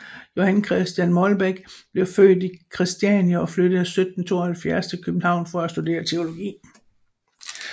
Johan Christian Molbech blev født i Kristiania og flyttede 1772 til København for at studere teologi